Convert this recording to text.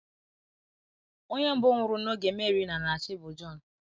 Onye mbụ nwụrụ n’oge Mary na - na - achị bụ Jon.